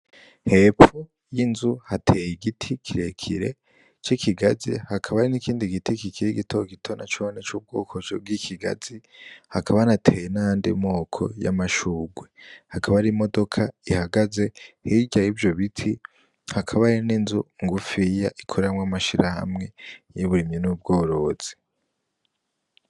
Hepfo y'inzu hateye igiti kirekire c'ikigazi, hakaba n'ikindi giti kikiri gitogito nacone c'ubwoko bw'ikigazi, hakaba hanateye nayandi moko y'amashugwe, hakaba hari imodoka ihagaze hirya y'ivyo biti, hakaba hari n'inzu ngufiya ikoreramwo amashirahamwe y’uburimi n’ ubworozi.